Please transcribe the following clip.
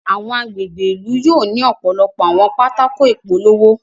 Awọn agbègbè ìlú yóò ni ọpọlọpọ àwọn pátákó ìpolówó